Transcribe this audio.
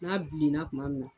N'a bilenna kuma min na.